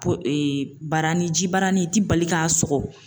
Po ee baranin ji baara ni i ti bali k'a sɔgɔ